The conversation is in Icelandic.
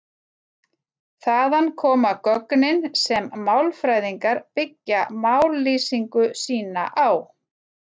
Þaðan koma gögnin sem málfræðingar byggja mállýsingu sína á.